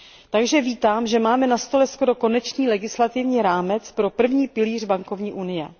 Takže vítám, že máme na stole skoro konečný legislativní rámec pro první pilíř bankovní unie.